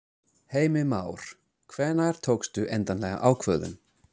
Heimir Már: Hvenær tókstu endanlega ákvörðun?